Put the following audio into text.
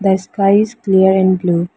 The sky is clear and blue.